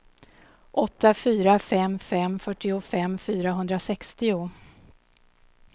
åtta fyra fem fem fyrtiofem fyrahundrasextio